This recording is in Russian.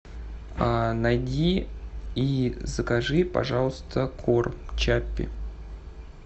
найди и закажи пожалуйста корм чаппи